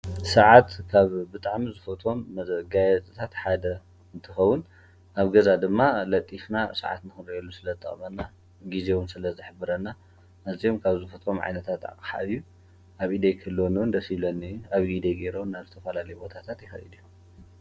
ሰዓት ካብ ብጣዕሚ ዝፈትዎም መጋየፂታት ሓደ እንትኸዉን ኣብ ገዛ ድማ ለጢፍና ስዓት ንክሪአሉ ስለ ዝጠቕመና ግዜ እውን ስለ ዝሕብረና ኣዚዮም ካብ ዝፈትዎም ዓይነት ኣቕሓ እዩ፡፡ ኣብ ኢደይ ክህልዎኒ እዉን ደስ ይብለኒ እዩ ኣብ ኢደይ ገይረ እውን ናብ ዝተፈላለዩ በታታት ይከይድ እየ ፡፡